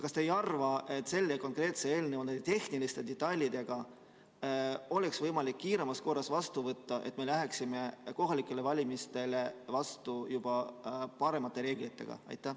Kas te ei arva, et see konkreetne eelnõu koos oma tehniliste detailidega tuleks kiiremas korras vastu võtta, et me läheksime kohalikele valimistele vastu juba paremate reeglitega?